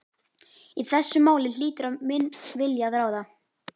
Í þessu máli hlýtur minn vilji að ráða.